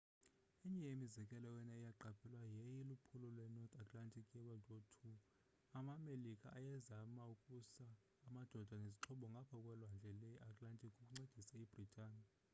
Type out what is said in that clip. enye yemizekelo eyona iqaphelwayo yayiyiliphulo lwe-north atlantic ye-wwii amamelika ayezema ukusa amadoda nezixhobo ngapha kwelwandle le-atlantic ukuncedisa ibritani